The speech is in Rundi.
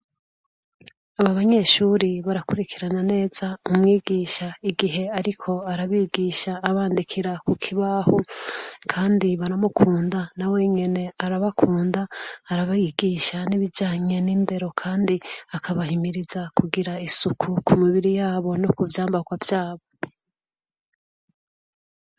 Aba banyeshuri barakurikirana neza umwigisha igihe ariko arabigisha abandikira ku kibahu kandi baramukunda na wenyene arabakunda arabigisha n'ibijanye n'indero kandi akabahimiriza kugira isuku ku mibiri yabo no ku vyambakwa vyabo.